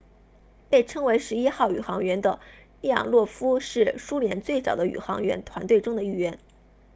被称为11号宇航员的列昂诺夫是苏联最早的宇航员团队中的一员